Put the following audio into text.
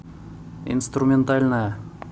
инструментальная